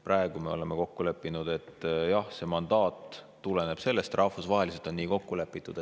Praegu me oleme kokku leppinud, et jah, see mandaat tuleneb sellest, et rahvusvaheliselt on nii kokku lepitud.